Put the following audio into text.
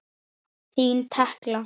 Þín Tekla.